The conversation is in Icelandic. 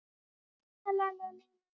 Fram og aftur.